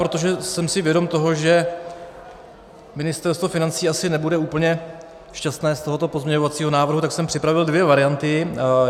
Protože jsem si vědom toho, že Ministerstvo financí asi nebude úplně šťastné z tohoto pozměňovacího návrhu, tak jsem připravil dvě varianty.